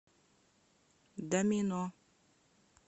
домино